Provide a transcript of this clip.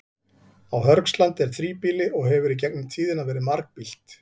Á Hörgslandi er þríbýli og hefur í gegnum tíðina verið margbýlt.